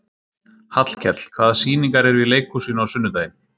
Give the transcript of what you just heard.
Hallkell, hvaða sýningar eru í leikhúsinu á sunnudaginn?